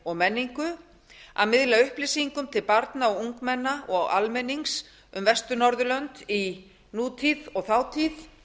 og menningu að miðla upplýsingum til barna ungmenna og almennings um vestur norðurlönd í nútíð og þátíð